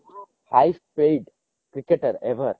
highest paid cricketer ever